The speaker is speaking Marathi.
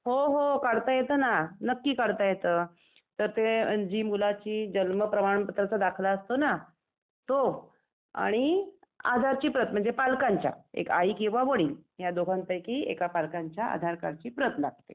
हो हो काढता येतं ना, नक्की काढता येतं. तर ते हे मुलाची जन्म प्रमाणपत्राचा दाखला असतो ना तो, आणि आधारची प्रत म्हणजे पालकांच्या एक आई किंवा वडील या दोघांपैकी एका पालकांच्या आधार कार्डची प्रत लागते .